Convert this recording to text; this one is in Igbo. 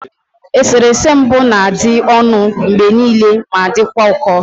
Eserese mbụ na-adị ọnụ mgbe niile ma dịkwa ụkọ